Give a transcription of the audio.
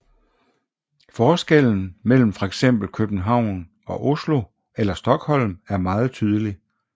Forskellen mellem fx København og Oslo eller Stockholm er meget tydelig